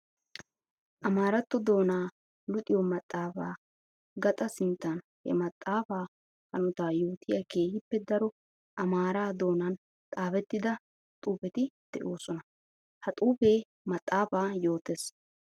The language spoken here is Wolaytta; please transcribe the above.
Amaaratto doona luxiyo maxafa gaxa sinttan he maxafa hanota yootiya keehippe daro amaara doonan xaafetidda xuufetti de'osonna. Ha xuufe maxafaa yootes.